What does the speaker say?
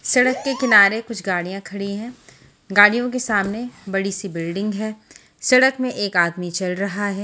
सड़क के किनारे कुछ गाडियाँ खड़ी हैं गाड़ियों के सामने बड़ी सी बिल्डिंग है सड़क में एक आदमी चल रहा है।